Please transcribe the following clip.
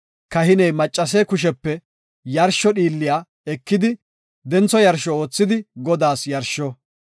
kahiney maccase kushepe yarsho dhiilliya ekidi, dentho yarsho oothidi Godaas yarsho.